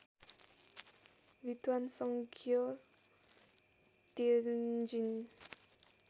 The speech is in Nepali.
विद्वान सङग्य त्यञ्जिन